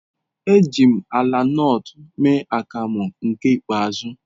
Eji m ala nut mee akamu nke ikpeazu.